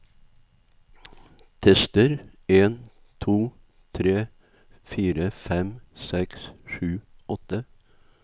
Tester en to tre fire fem seks sju åtte